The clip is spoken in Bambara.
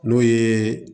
N'o ye